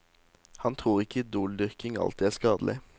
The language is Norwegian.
Han tror ikke idoldyrking alltid er skadelig.